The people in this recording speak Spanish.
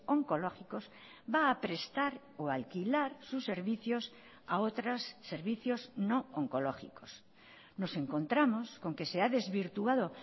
oncológicos va a prestar o alquilar sus servicios a otros servicios no oncológicos nos encontramos con que se ha desvirtuado